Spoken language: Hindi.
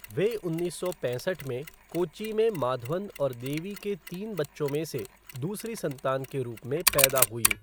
वह उन्नीस सौ पैंसठ में कोच्चि में माधवन और देवी के तीन बच्चों में से दूसरी संतान के रूप में पैदा हुईं।